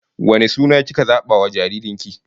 Wane suna kika zaba wa jaririn ki?